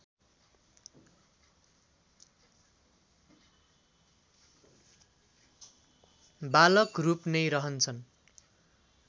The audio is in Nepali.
बालक रूप नै रहन्छन्